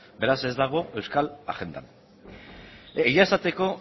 beraz ez dago euskal agendan egia esateko